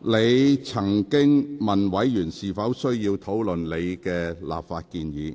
你曾詢問委員是否需要討論你的立法建議。